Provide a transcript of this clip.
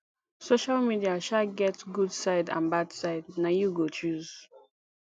social media um get good side and bad side na you go choose